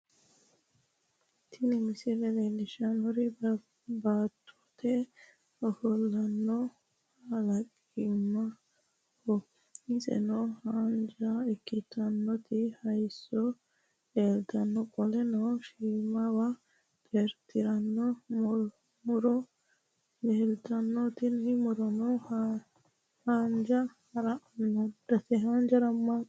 Tini misile leellishshannohu baattote ofollonna kalaqamaho, iseno haanja ikkitinoti hayiisso leeltanno qoleno shiimawa xeertirinowa muro leeltanno tini murono hojja harammaaddate.